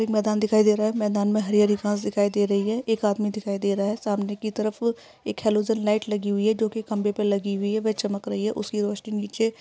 एक मैदान दिखाई दे रहा है मैदान में हरी-हरी घास दिखाई दे रही है। एक आदमी दिखाई दे रहा है। सामने की तरफ एक हैलोजन लाइट लगी हुई है जो की खंबे पे लगी हुई है व चमक रही है उसकी रोशनी नीचे --